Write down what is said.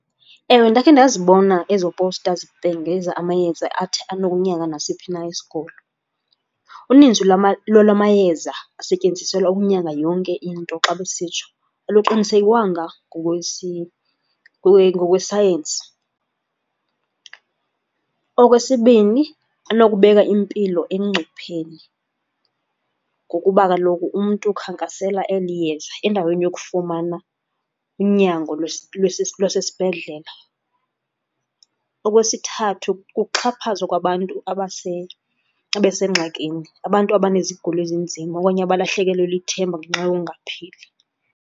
Ewe, ndakhe ndazibona ezo powusta zibhengeza amayeza athi anokunyanga nasiphi na isigulo. Uninzi lolwa mayeza asetyenziselwa ukunyanga yonke into xa besitsho aluqiniisekwanga ngokwesayensi. Okwesibini, anokubeka impilo engcupheni ngokuba kaloku umntu ukhankasela eli yeza endaweni yokufumana unyango lwasesibhedlela. Okwesithathu, kuxhaphazwa kwabantu abasengxakini, abantu abanezigulo ezinzima okanye abalahlekelwe lithemba ngenxa yongaqaphili.